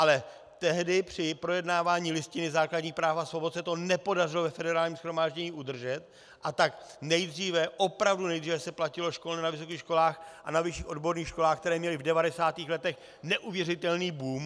Ale tehdy při projednávání Listiny základních práv a svobod se to nepodařilo ve Federálním shromáždění udržet, a tak nejdříve, opravdu nejdříve se platilo školné na vysokých školách a na vyšších odborných školách, které měly v 90. letech neuvěřitelný boom.